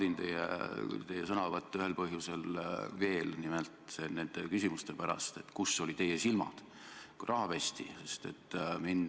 Aga üldiselt ma naudin teie sõnavõtte, ja seda ka nende küsimuste pärast, et kus olid teie silmad, kui raha pesti.